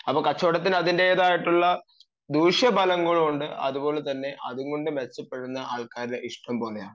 അപ്പൊ കച്ചവടത്തിന് അതിന്റേതായിട്ടുള്ള ദൂഷ്യഫലങ്ങളുണ്ട് അതുപോലെതന്നെ അതുകൊണ്ട് മെച്ചപ്പെടുന്ന ആളുകളുടെ ഇഷ്ടംപോലെയാ